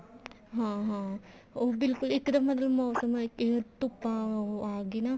ਹਾਂ ਹਾਂ ਬਿਲਕੁਲ ਇੱਕਦਮ ਮਤਲਬ ਮੋਸਮ ਅਮ ਧੁੱਪਾਂ ਆਗੀ ਨਾ